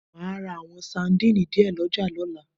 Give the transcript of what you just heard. Màá ra àwọn sandínì díẹ̀ ọlọ́jà lọ́la